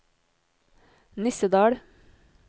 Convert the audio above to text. Nissedal